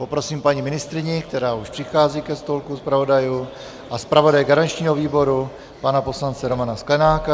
Poprosím paní ministryni, která už přichází ke stolku zpravodajů, a zpravodaje garančního výboru pana poslance Romana Sklenáka.